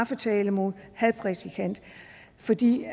tiltale mod en hadprædikant fordi